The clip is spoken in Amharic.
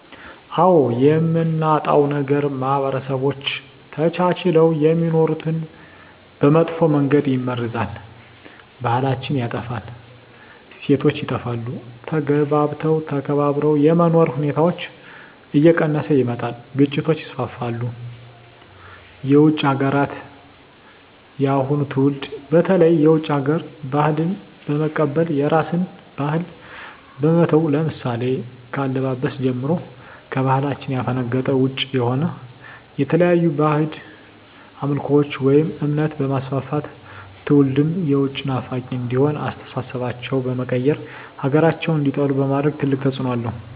አዎ የምናጣው ነገር ማህበረሰቦች ተቻችለው የሚኖሩትን በመጥፎ መንገድ ይመርዛል , ባህላችን ይጠፋል, እሴቶች ይጠፋሉ, ተግባብቶ ተከባብሮ የመኖር ሁኔታዎች እየቀነሰ ይመጣል ግጭቶች ይስፋፋሉ። የውጭ ሀገራትን የአሁኑ ትውልድ በተለይ የውጭ ሀገር ባህልን በመቀበል የራስን ባህል በመተው ለምሳሌ ከአለባበስ ጀምሮ ከባህላችን ያፈነገጠ ውጭ የሆነ የተለያዩ ባህድ አምልኮቶችን ወይም እምነት በማስፋፋት ትውልድም የውጭ ናፋቂ እንዲሆኑ አስተሳሰባቸው በመቀየር ሀገራቸውን እንዲጠሉ በማድረግ ትልቅ ተፅዕኖ አለው።